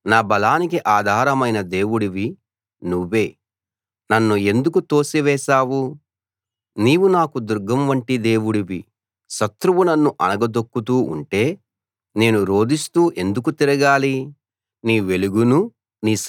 నా బలానికి ఆధారమైన దేవుడివి నువ్వే నన్ను ఎందుకు తోసివేశావు నీవు నాకు దుర్గం వంటి దేవుడివి శత్రువు నన్ను అణగదొక్కుతూ ఉంటే నేను రోదిస్తూ ఎందుకు తిరగాలి